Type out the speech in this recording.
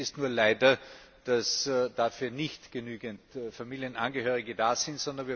Realität ist nur leider, dass dafür nicht genügend Familienangehörige da sind.